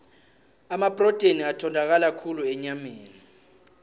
amaprotheni atholakala khulu enyameni